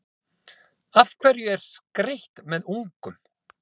Af hverju er skreytt með ungum?